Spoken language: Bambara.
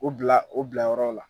O bila o bilayɔrɔ la